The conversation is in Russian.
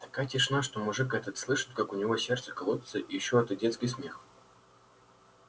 такая тишина что мужик этот слышит как у него сердце колотится и ещё этот детский смех